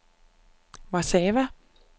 Warszawa